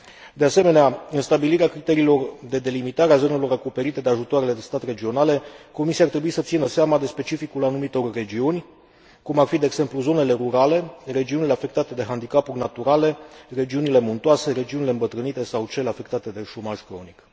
De asemenea, în stabilirea criteriilor de delimitare a zonelor acoperite de ajutoarele de stat regionale, Comisia ar trebui să țină seama de specificul anumitor regiuni, cum ar fi, de exemplu, zonele rurale, regiunile afectate de handicapuri naturale, regiunile muntoase, regiunile îmbătrânite sau cele afectate de șomaj cronic.